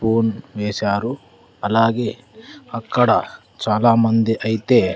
Phone వేశారు అలాగే అక్కడ చాలామంది అయితే.